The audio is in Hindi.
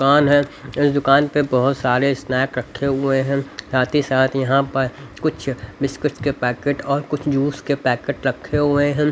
दुकान है इस दुकान पर बहुत सारे स्नैक रखे हुए हैं साथ ही साथ यहां पर कुछ बिस्किट के पैकेट और कुछ जूस के पैकेट रखे हुए हैं।